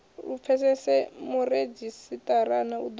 lu pfesese muredzhisitarara u ḓo